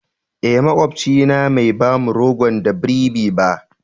Eh, makwapcin na Mai ba mu rogon da y bribi ba.